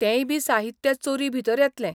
तेंय बी साहित्य चोरी भितर येतलें.